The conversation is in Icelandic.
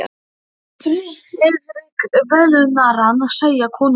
Friðrik velunnarann segja, konur og karla.